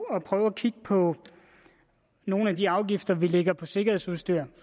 at prøve at kigge på nogle af de afgifter vi lægger på sikkerhedsudstyr